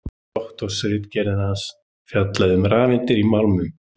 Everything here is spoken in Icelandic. Doktorsritgerð hans fjallaði um rafeindir í málmum.